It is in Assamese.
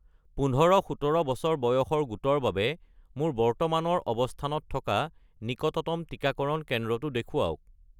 ১৫-১৭ বছৰ বয়সৰ গোটৰ বাবে মোৰ বৰ্তমানৰ অৱস্থানত থকা নিকটতম টিকাকৰণ কেন্দ্ৰটো দেখুৱাওক